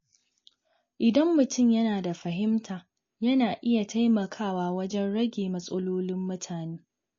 Idan mutum yana da fahimta, yana iya taimakawa wajen rage matsalolin mutane.